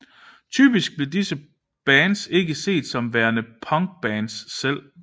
Typisk blev disse bands ikke set som værende punkbands selv